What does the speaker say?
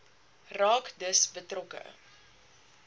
raak dus betrokke